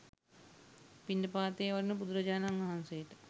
පිණ්ඩපාතයේ වඩින බුදුරජාණන් වහන්සේට